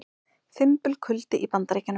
Fimbulkuldi í Bandaríkjunum